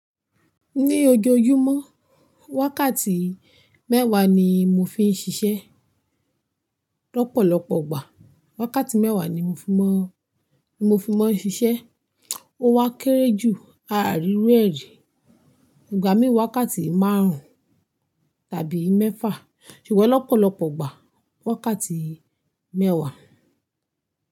Ní ojoojúmọ́, wákàtí mẹ́wàá ni mo fi ń ṣiṣẹ́. Lọ́pọ̀lọpọ̀ ọgbà, wákàtí mẹ́wàá ni mo fi máa ń ṣiṣẹ́. Ó wa kéré jù ààrirú ẹri. Ìgbà mí wákàtí márùn-ún tàbí mẹ́fà, ṣùgbọ́n lọ́pọ̀lọpọ̀ ọgbà, wákàtí mẹ́wàá.